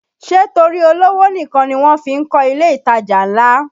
Ṣé torí olówó nìkan ni wọ́n fí ń kọ ilé ìtajà ńlá?